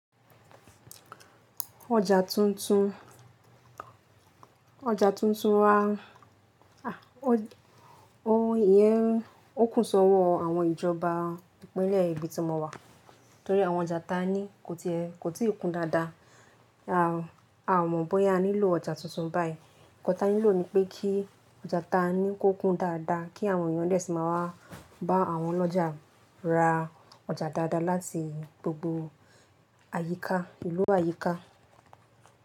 Ọjà tuntun, ọjà tuntun wa, iyẹ́n, ó kù sọ́wọ́ àwọn ìjọba ìpínlẹ̀ ibi tí mo wà torí àwọn ọjà ta ní kò tíì kún dáadáa. A mọ̀ bóyá a nílò ọjà tuntun báyìí. Ǹkan tá a nílò ni pé kí ọjà ta ní kó kún dáadáa kí àwọn èèyàn fẹ sí má wá bá àwọn ọlọ́jà ra ọjà dáadáa láti gbogbo àyíká ìlú àyíká.